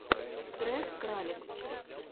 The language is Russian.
трек кралекс